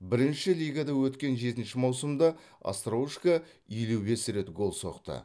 бірінші лигада өткен жетінші маусымда остроушко елу бес рет гол соқты